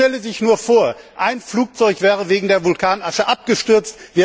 Man stelle sich nur vor, ein Flugzeug wäre wegen der Vulkanasche abgestürzt!